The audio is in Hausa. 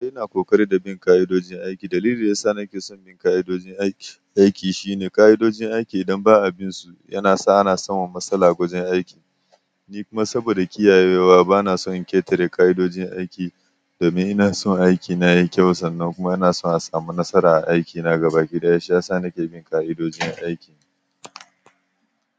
Ina ƙoƙari da bin ƙa'idojin aiki. Dalilin yasa nake son bin ƙa'idojin aiki shine, ƙa'idojin aiki idan ba a bin su, yana sa ana samun matsala wajen aiki. Ni kuma saboda kiyayewa bana son in ƙetare ƙa'idojin aiki domin ina son aikina ya yi kyau sannan kuma ina so in samu nasara a aikina gaba ki ɗaya. Shi yasa nake bin ƙa'idojin aiki.